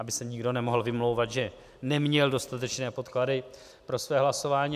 Aby se nikdo nemohl vymlouvat, že neměl dostatečné podklady pro své hlasování.